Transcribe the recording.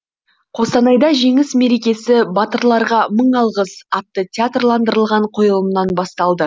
қостанайда жеңіс мерекесі батырларға мың алғыс атты театрландырылған қойылымнан басталды